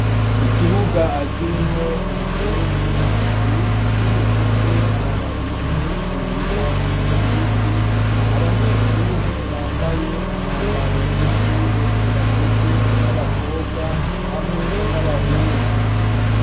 Ikibuga akirimwo umushenyi ibiti bifise amababi menshi y'icatsi ikibishi abanyeshure bambaye umwambaro w'ishure bagizwe n'abakobwa hamwe n'abahungu.